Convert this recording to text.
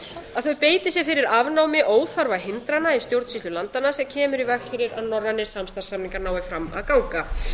að þau beiti sér fyrir afnámi óþarfa hindrana í stjórnsýslu landanna sem kemur í veg fyrir að norrænir samstarfssamningar nái fram að ganga